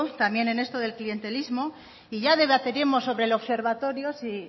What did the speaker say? también en esto del clientelismo y ya debatiremos sobre el observatorio si